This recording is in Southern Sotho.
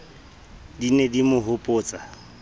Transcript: di ne di mo hopotsa